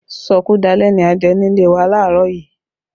Sọkúdalẹ́ ni a jẹ nílé wa laarọ yìí